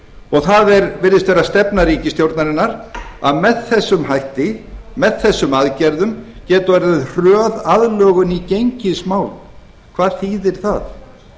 og það virðist vera stefna ríkisstjórnarinnar að með þessum hætti með þessum aðgerðum geti orðið hröð aðlögun í gengismálum hvað þýðir það